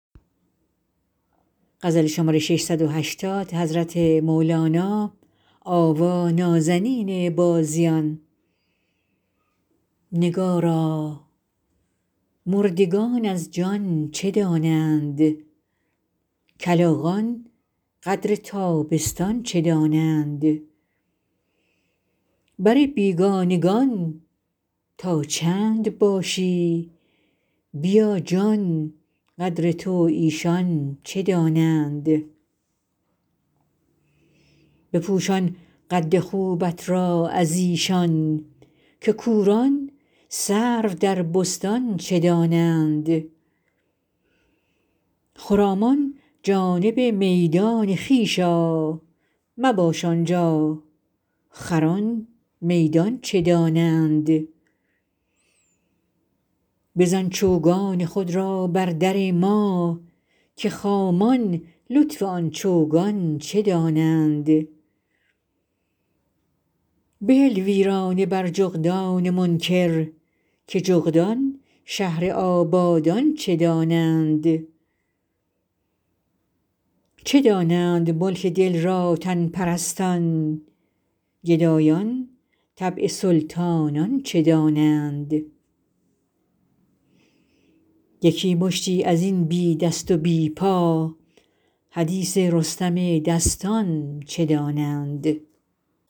نگارا مردگان از جان چه دانند کلاغان قدر تابستان چه دانند بر بیگانگان تا چند باشی بیا جان قدر تو ایشان چه دانند بپوشان قد خوبت را از ایشان که کوران سرو در بستان چه دانند خرامان جانب میدان خویش آ مباش آن جا خران میدان چه دانند بزن چوگان خود را بر در ما که خامان لطف آن چوگان چه دانند بهل ویرانه بر جغدان منکر که جغدان شهر آبادان چه دانند چه دانند ملک دل را تن پرستان گدایان طبع سلطانان چه دانند یکی مشتی از این بی دست و بی پا حدیث رستم دستان چه دانند